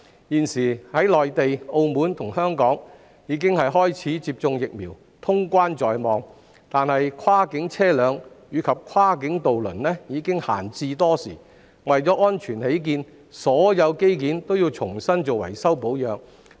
現時內地、澳門及香港已開始接種疫苗，通關在望，但跨境車輛及跨境渡輪已閒置多時，為安全起見，業界須為所有機件重新進行維修保養。